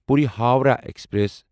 Puri Howrah express